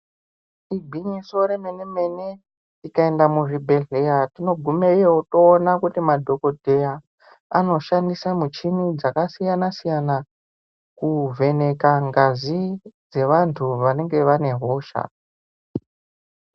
Igwinyiso remene mene tikaenda muzvibhedhleya tinogumeyo toona kuti madokoteya anoshandisa mishini yakasiya siyana kuvheneka ngazi yevandu vanenge vaine hosha.